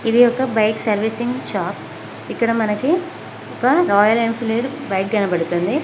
ఇది ఒక bike servicing shop ఇక్కడ మనకి ఒక రాయల్ ఎన్ ఫీల్డ్ బైక్ కనబడుతుంది.